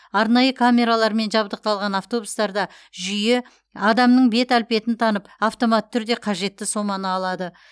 арнайы камералармен жабдықталған автобустарда жүйе адамның бет әлпетін танып автоматты түрде қажетті соманы алады